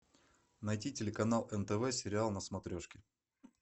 найти телеканал нтв сериал на смотрешке